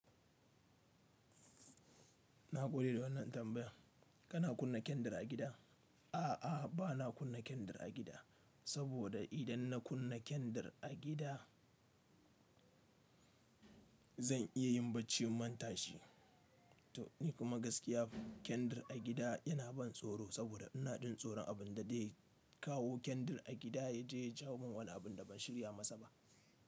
Na gode da wannan tambaya. Kana kunna kendir a gida? A'a, bana kunna kendir a gida, saboda idan na kunna kendir a gida zan iya yin bacci ban tashi ba. Ni kuma gaskiya kendir a gida yana ban tsoro saboda ina jin tsoron abin da zai kawo kendir a gida ya je ya jawo min wani abin da ban shirya masa ba.